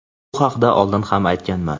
bu haqda oldin ham aytganman.